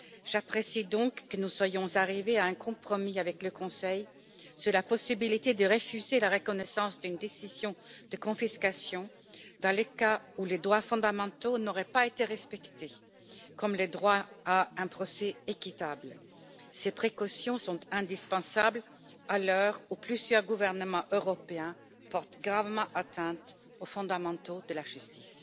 J'apprécie donc que nous soyons arrivés à un compromis avec le Conseil sur la possibilité de refuser la reconnaissance d'une décision de confiscation dans le cas où les droits fondamentaux n'auraient pas été respectés, comme le droit à un procès équitable. Ces précautions sont indispensables à l'heure où plusieurs gouvernements européens portent gravement atteinte aux fondamentaux de la justice.